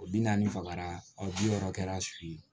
O bi naani fagara aw bi wɔɔrɔ kɛra su ye